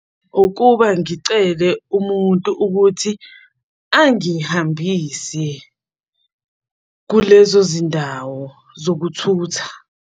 Ukuba ngicele umuntu ukuthi angihambise kulezo zindawo zokuthutha.